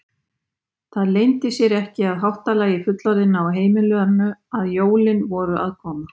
Það leyndi sér ekki á háttalagi fullorðinna á heimilinu að jólin voru að koma.